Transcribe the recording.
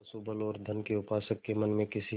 पशुबल और धन के उपासक के मन में किसी